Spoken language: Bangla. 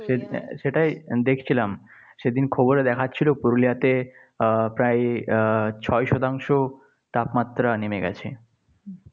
সে সেটাই দেখছিলাম। সেদিন খবরে দেখাচ্ছিল পুরুলিয়াতে আহ প্রায় আহ ছয় শতাংশ তাপমাত্রা নেমে গেছে।